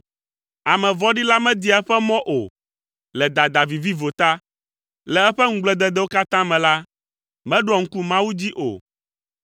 Ame vɔ̃ɖi la media eƒe mɔ o, le dada viviwo ta, le eƒe ŋugblededewo katã me la, meɖoa ŋku Mawu dzi o.